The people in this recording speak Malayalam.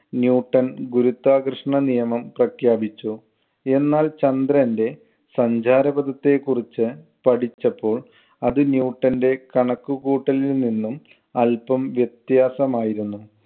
ന്യൂട്ടൺ ഗുരുത്വാകർഷണ നിയമം പ്രഖ്യാപിച്ചു. എന്നാൽ ചന്ദ്രന്‍റെ സഞ്ചാര പദത്തെ കുറിച്ച് പഠിച്ചപ്പോൾ അത് ന്യൂട്ടന്‍റെ കണക്കുകൂട്ടലിൽ നിന്നും അല്പം വ്യത്യാസമായിരുന്നു.